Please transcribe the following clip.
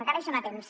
encara hi són a temps